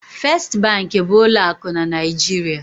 First bank bụ ụlọ akụ na Naịjirịa.